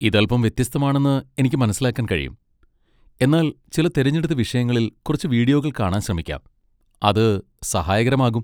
ഇത് അൽപ്പം വ്യത്യസ്തമാണെന്ന് എനിക്ക് മനസ്സിലാക്കാൻ കഴിയും, എന്നാൽ ചില തിരഞ്ഞെടുത്ത വിഷയങ്ങളിൽ കുറച്ച് വീഡിയോകൾ കാണാൻ ശ്രമിക്കാം, അത് സഹായകരമാകും.